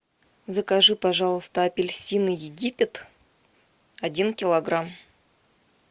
закажи пожалуйста апельсины египет один килограмм